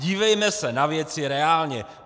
Dívejme se na věci reálně!